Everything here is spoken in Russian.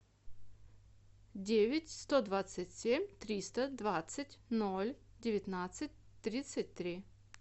девять сто двадцать семь триста двадцать ноль девятнадцать тридцать три